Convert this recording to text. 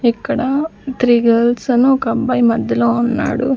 ఇక్కడ three girls అని ఒక అబ్బాయి మద్దెలో ఉన్నాడు.